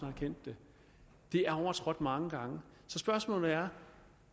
erkendt det det er overtrådt mange gange så spørgsmålet er